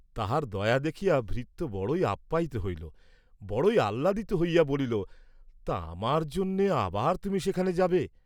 তাহার দয়া দেখিয়া ভৃত্য বড়ই আপ্যায়িত হইল, বড়ই আহ্লাদিত হইয়া বলিল, তা আমার জন্যে আবার তুমি সেখানে যাবে?